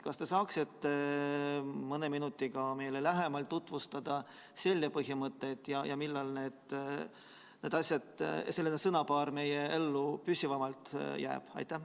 Kas te saaksite mõne minuti jooksul meile lähemalt tutvustada selle põhimõtteid ja öelda, millal selline sõnapaar meie ellu püsivamalt jääb?